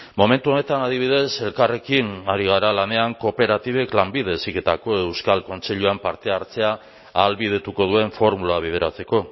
momentu honetan adibidez elkarrekin ari gara lanean kooperatibek lanbide heziketako euskal kontseiluan parte hartzea ahalbidetuko duen formula bideratzeko